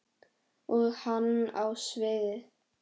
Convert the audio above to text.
Og hann á sviðið.